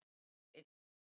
Bóndi einn.